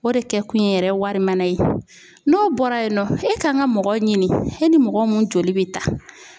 O de kɛ kun ye yɛrɛ ye wari mara ye, n'o bɔra yen nɔ, e kan ka mɔgɔ ɲini e ni mɔgɔ mun joli bɛ taa.